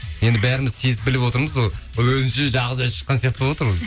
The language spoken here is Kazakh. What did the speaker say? енді бәріміз сезіп біліп отырмыз ғой өзінше жалғыз өзі шыққан сияқты болып отыр